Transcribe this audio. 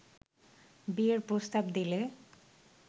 বিয়ের প্রস্তাব দিলে